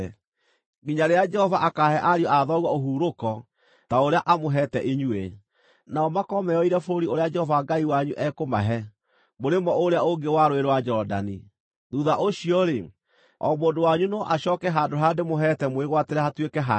nginya rĩrĩa Jehova akaahe ariũ a thoguo ũhurũko ta ũrĩa amũheete inyuĩ, nao makorwo meyoeire bũrũri ũrĩa Jehova Ngai wanyu ekũmahe, mũrĩmo ũrĩa ũngĩ wa Rũũĩ rwa Jorodani. Thuutha ũcio-rĩ, o mũndũ wanyu no acooke handũ harĩa ndĩmũheete mwĩgwatĩre hatuĩke hanyu.”